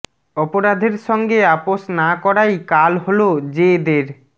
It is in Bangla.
অপরাধের সঙ্গে আপোস না করাই কাল হল জে দের